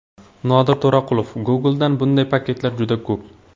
Nodir To‘raqulov: Google’da bunday paketlar juda ko‘p.